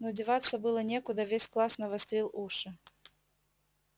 но деваться было некуда весь класс навострил уши